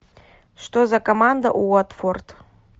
что за команда уотфорд